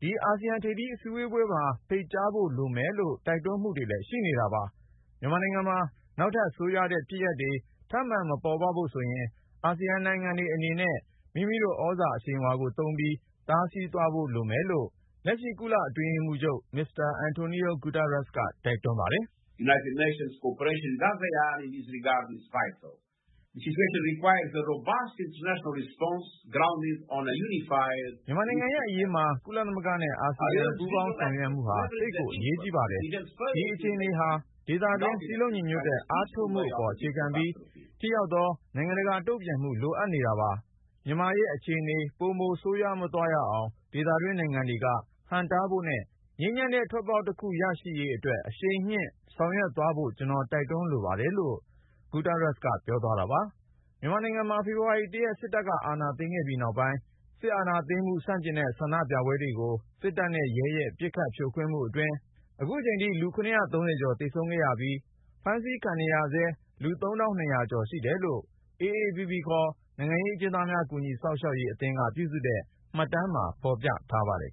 ဒီ အာဆီယံထိပ်သီး အစည်းအဝေးပွဲမှာ ဖိတ်ကြားဖို့ လိုတယ်ဆိုပြီး တိုက်တွန်းမှုတွေလည်း ရှိနေတာပါ။ မြန်မာနိုင်ငံမှာ နောက်ထပ် ဆိုးရွားတဲ့ဖြစ်ရပ်တွေ ထပ်မံ မပေါ်ပေါက်ဖို့ဆိုရင်အာဆီယံနိုင်ငံတွေအနေနဲ့ မိမိတို့သြဇာအရှိန်အဝါကို သုံးပြီး တားဆီးသွားဖို့လိုတယ်လို့လက်ရှိ ကုလ-အတွင်းရေးမှူးချုပ် မစ္စတာAntónio Guterres ကလည်း တိုက်တွန်းပါတယ်။ " မြန်မာနိုင်ငံရဲ့ အရေးမှာ ကုလသမဂ္ဂနဲ့ အာဆီယံ ပူးပေါင်းဆောင်ရွက်မှုဟာ သိပ်ကိုအရေးကြီးပါတယ်။ ဒီအခြေအနေဟာ ဒေသတွင်း စည်းလုံးညီညွတ်တဲ့ အားထုတ်မှုအပေါ် အခြေခံပြီး ထိရောက်သော နိုင်ငံတကာတုန့်ပြန်မှု လိုအပ်နေပါတယ်။မြန်မာရဲ့အခြေအနေ ပိုမို မဆိုးရွားသွားအောင် ဒေသတွင်းနိုင်ငံတွေက ဟန့်တားဖို့နဲ့ ငြိမ်းချမ်းတဲ့ ထွက်ပေါက်တခု ရရှိရေးအတွက် အရှိန်မြှင့် ဆောင်ရွက်ကြဖို့ ကျနော် တိုက်တွန်းလိုပါတယ်။" မြန်မာနိုင်ငံမှာ ဖေဖေါ်ဝါရီ ၁ ရက်နေ့ စစ်တပ်က အာဏာသိမ်းခဲ့ပြီးနောက်ပိုင်း စစ်အာဏာသိမ်းမှု ဆန့်ကျင်တဲ့ ဆန္ဒပြပွဲတွေကို စစ်တပ်နဲ့ရဲရဲ့ ပစ်ခတ်ဖြိုခွင်းမှုအတွင်း အခုချိန်ထိ လူ(၇၃၀)ကျော် သေဆုံးခဲ့ရပြီး ၊ ဖမ်းဆီးခံနေဆဲ လူ(၃၂၀၀)ကျော်ရှိတယ်လို့ AAPP ခေါ် နိုင်ငံရေးအကျဉ်းသားများ ကူညီစောင့်ရှောက်ရေးအသင်းက ပြုစုထားတဲ့ မှတ်တမ်းမှာ ဖေါ်ပြထားပါတယ်